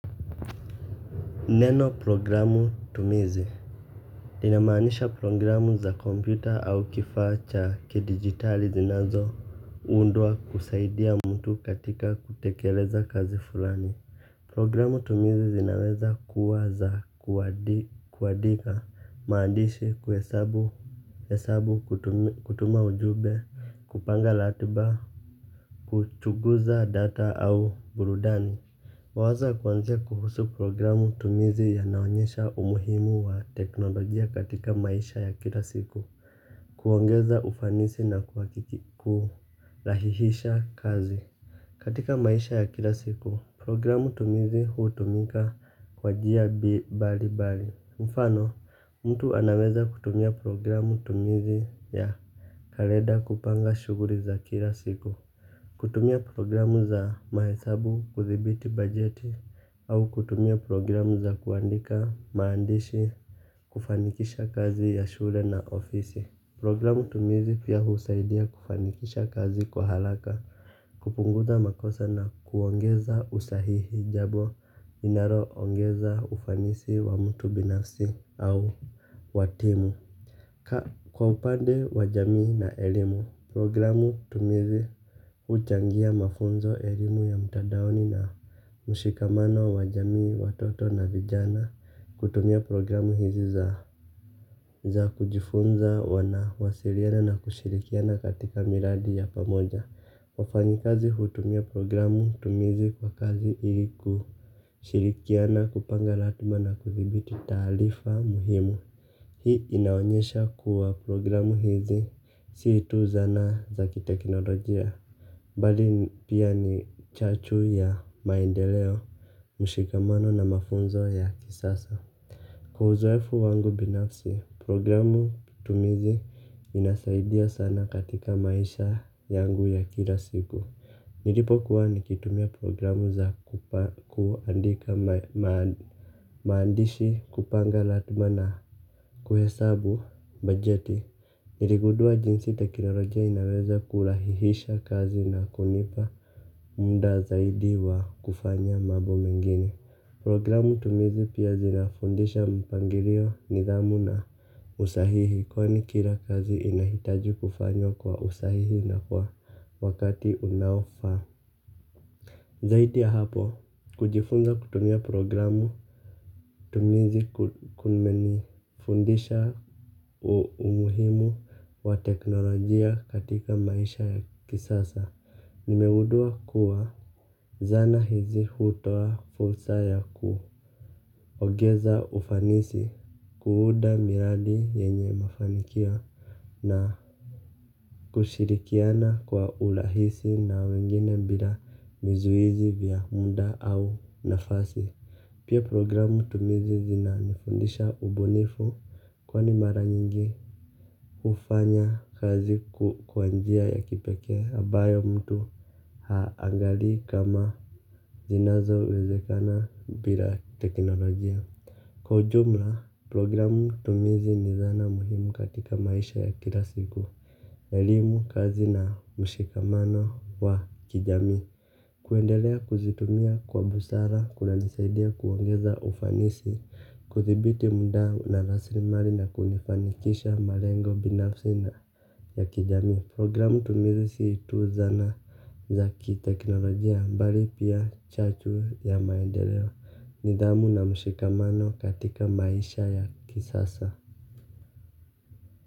Neno programu tumizi linamaanisha programu za kompyuta au kifaa cha kidigitali zinazo undwa kusaidia mtu katika kutekeleza kazi fulani. Programu tumizi zinaweza kuwaza kuandika maandishi kuhesabu kutuma ujumbe kupanga ratiba kuchunguza data au burudani mawazo ya kuanzia kuhusu programu tumizi yanaonyesha umuhimu wa teknolojia katika maisha ya kila siku. Kuongeza ufanisi na kurahihisha kazi. Katika maisha ya kila siku, programu tumizi hu tumika kwa njia mbali mbali. Mfano, mtu anaweza kutumia programu tumizi ya kalenda kupanga shuguli za kila siku. Kutumia programu za mahesabu kudhibiti bajeti au kutumia programu za kuandika maandishi kufanikisha kazi ya shule na ofisi. Programu tumizi pia husaidia kufanikisha kazi kwa haraka, kupunguza makosa na kuongeza usahihi jambo linalo ongeza ufanisi wa mtu binafsi au wa timu. Kwa upande wa jamii na elimu, programu tumizi huchangia mafunzo elimu ya mtandaoni na mshikamano wa wajamii, watoto na vijana kutumia programu hizi za kujifunza wana wasiliana na kushirikiana katika miradi ya pamoja. Wafanyi kazi hutumia programu tumizi kwa kazi ili ku shirikiana kupanga ratiba na kudhibiti taarifa muhimu. Hii inaonyesha kuwa programu hizi si tu zana za kiteknolojia bali pia ni chachu ya maendeleo. Mshikamano na mafunzo ya kisasa kwa uzoefu wangu binafsi programu tumizi inasaidia sana katika maisha yangu ya kila siku nilipo kuwa nikitumia programu za kuandika maandishi kupanga ratiba na kuhesabu bajeti. Niligundua jinsi teknolojia inaweza kurahihisha kazi na kunipa muda zaidi wa kufanya mambo mengine. Programu tumizi pia zinafundisha mpangilio nidhamu na usahihi kwani kila kazi inahitaji kufanywa kwa usahihi na kwa wakati unaofaa. Zaidi ya hapo, kujifunza kutumia programu tumizi kumenifundisha umuhimu wa teknolojia katika maisha ya kisasa. Nimegundua kuwa zana hizi hutoa fursa ya kuongeza ufanisi kuunda miradi yenye mafanikio na kushirikiana kwa urahisi na wengine bila vizuizi vya muda au nafasi. Pia programu tumizi zina nifundisha ubunifu kwani mara nyingi kufanya kazi kwa njia ya kipekee ambayo mtu haangalii kama zinazowezekana bila teknolojia kwa ujumla programu tumizi ni dhana muhimu katika maisha ya kila siku. Elimu kazi na mshikamano wa kijamii kuendelea kuzitumia kwa busara, kuna nisaidia kuongeza ufanisi, kudhibiti muda na raslimali na kunifanikisha malengo binafsi na ya kijamii. Programu tumizi si tu zana za kiteknolojia bali pia chachu ya maendeleo, nidhamu na mshikamano katika maisha ya kisasa.